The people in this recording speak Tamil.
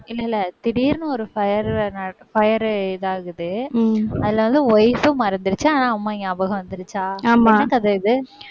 இல்ல இல்ல திடீர்னு ஒரு fire நட~ fire இதாகுது. அதனால wife ம் மறந்துருச்சு ஆனா அம்மா ஞாபகம் வந்து ஆமா. என்ன கதை இது